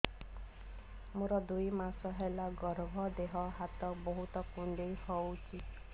ମୋର ଦୁଇ ମାସ ହେଲା ଗର୍ଭ ଦେହ ହାତ ବହୁତ କୁଣ୍ଡାଇ ହଉଚି